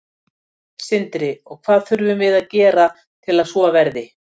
Sindri: Og hvað þurfum við að gera til að svo verði?